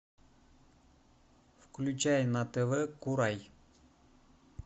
включай на тв курай